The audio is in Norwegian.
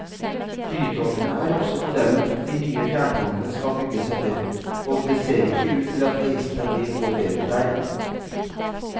Flytogene er også modellen de nye fjerntogene skal bygges etter, og det ser ikke ut til at heisene blir noe bedre der.